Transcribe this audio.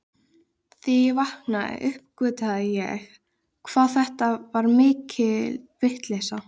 Þegar ég vaknaði uppgötvaði ég hvað þetta var mikil vitleysa.